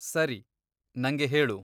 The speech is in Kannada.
ಸರಿ, ನಂಗೆ ಹೇಳು.